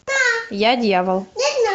я дьявол